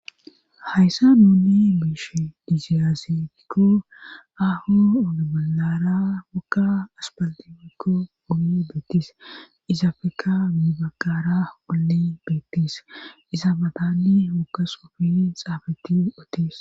Hayssa nuni meeshe diziyasakko aho ogebolara wogga aspaltifikko oge beettis izapeka mibakara olle beettis iza matanni wogga xuffe xafetidi bethes.